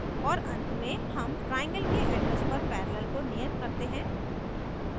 और and में हम triangle के address पर पैरेलल को नियत करते हैं